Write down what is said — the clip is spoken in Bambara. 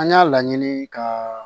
An y'a laɲini ka